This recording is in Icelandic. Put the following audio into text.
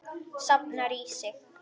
Safnar í sig.